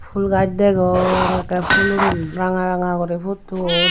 pul gaj degong ekkey pulun ranga ranga gori putton.